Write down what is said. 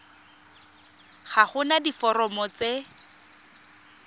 ga go na diforomo tse